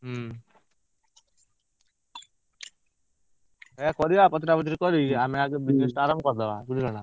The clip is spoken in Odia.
ହୁଁ ସେଇଆ କରିଆ ପଚରା ପଚରି କରି ଆମେ ଆଗ business ଟା ଆରମ୍ଭ କରିଦବା ବୁଝିଲ ନା,